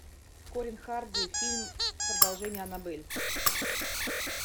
колин харди фильм продолжение аннабель